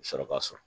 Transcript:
Sɔrɔ ka sɔrɔ